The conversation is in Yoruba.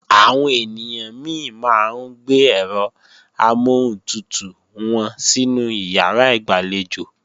Àwọn ènìyàn mi máa ń gbé ẹ̀rọ amọ́huntutù wọn sínú ìyàrá ìgbàlejò